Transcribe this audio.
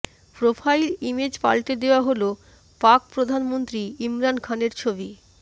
profile image পাল্টে দেওয়া হল পাক প্রধানমন্ত্রী ইমরান খানের ছবি